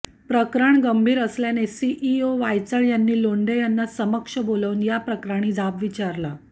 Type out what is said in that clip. प्रकरण गंभीर असल्याने सीईओ वायचळ यांनी लोंढे यांना समक्ष बोलावून याप्रकरणी जाब विचारला